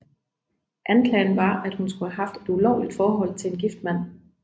Anklagen var at hun skulle have haft et ulovligt forhold til en gift mand